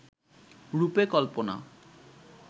রূপে কল্পনা